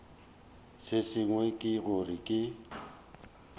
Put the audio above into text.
se sengwe ke gore ke